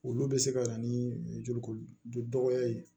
Olu bɛ se ka na ni joli ko dɔgɔya ye